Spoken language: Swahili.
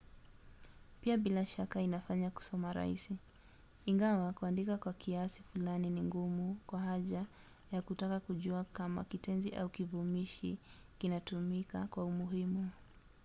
pia bila shaka inafanya kusoma rahisi ingawa kuandika kwa kiasi fulani ni ngumu kwa haja ya kutaka kujua kama kitenzi au kivumishi kinatumika kwa umuhimu